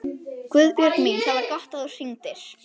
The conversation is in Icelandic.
Guðbjörg mín, það var gott að þú hringdir.